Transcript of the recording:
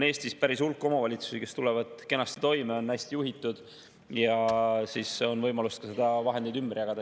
Eestis on päris hulk omavalitsusi, kes tulevad kenasti toime, on hästi juhitud ja siis on võimalus ka neid vahendeid ümber jagada.